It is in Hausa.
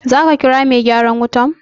Za ka kira mai gyaran wutan?